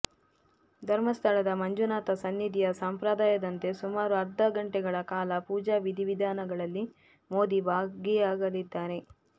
ಧರ್ಮಸ್ಥಳದ ಮಂಜುನಾಥ ಸನ್ನಿಧಿಯ ಸಂಪ್ರದಾಯದಂತೆ ಸುಮಾರು ಅರ್ಧ ಗಂಟೆಗಳ ಕಾಲ ಪೂಜಾ ವಿಧಿವಿಧಾನಗಳಲ್ಲಿ ಮೋದಿ ಭಾಗಿಯಾಗಲಿದ್ದಾರೆ